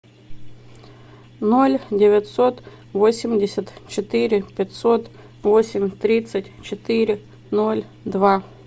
ноль девятьсот восемьдесят четыре пятьсот восемь тридцать четыре ноль два